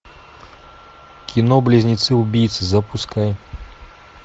кино близнецы убийцы запускай